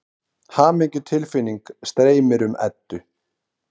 Hamingjutilfinning streymir um Eddu.